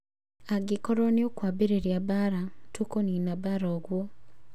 Angĩkorwo nĩũkwambarĩria mbara, tũkunina mbara ũguo"